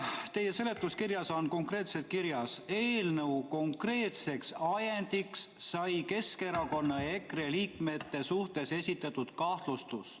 Teie eelnõu seletuskirjas on kirjas: "Eelnõu konkreetseks ajendiks sai Keskerakonna ja EKRE liikme suhtes esitatud kahtlustus.